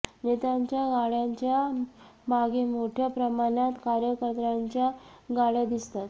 नेत्यांच्या गाड्यांच्या मागे मोठ्या प्रमाणात कार्यकर्त्यांच्या गाड्या दिसतात